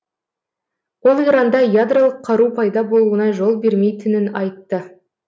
ол иранда ядролық қару пайда болуына жол бермейтінін айтты